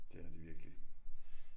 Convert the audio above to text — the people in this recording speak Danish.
Det har de virkelig